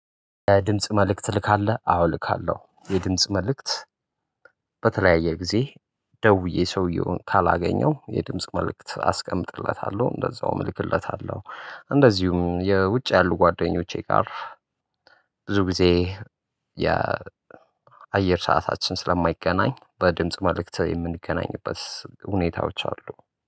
የድምጽ መልእክት ትልካለህ አዎ እልካለሁ። የድምጽ መልእክት በተለያየ ጊዜ ደውዬ ሰውዬውን ካላገኘው የድምጽ መልእክት አስቀምጥለታለሁ። እንደዛውም እልክለታለሁ። እንደዚሁም የውጭ ያሉ ጓደኞቼ ጋር ብዙ ጊዜ የአየር ሰዓታችን ስለማይገናኝ በድምጽ መልእክት የምንገናኝበት ሁኔታዎች አሉ